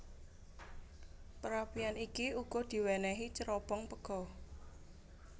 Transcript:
Perapian iki uga diwénéhi cerobong pega